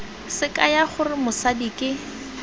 se kaya gore mosadi ke